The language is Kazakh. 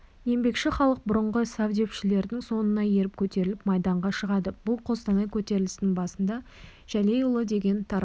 еңбекші халық бұрынғы совдепшілердің соңына еріп көтеріліп майданға шығады бұл қостанай көтерілісінің басында жәлейұлы деген таран